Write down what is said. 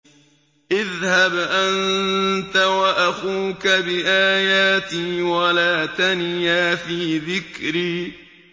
اذْهَبْ أَنتَ وَأَخُوكَ بِآيَاتِي وَلَا تَنِيَا فِي ذِكْرِي